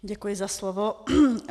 Děkuji za slovo.